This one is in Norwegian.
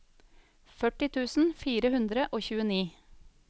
førti tusen fire hundre og tjueni